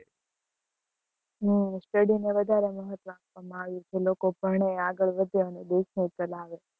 હમ study નું વધારે મહત્વ આપવામાં આવ્યું છે, લોકો ભણે, આગળ વધે અને દેશને ચલાવે